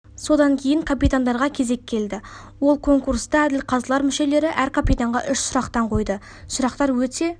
содан кейін капитандарға кезек келді ол конкурста әділқазылар мүшелері әр капитанға үш сұрақтан қойды сұрақтар өте